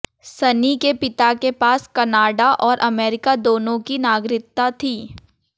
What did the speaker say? सनी के पिता के पास कनाडा और अमेरिका दोनों की नागरिकता थी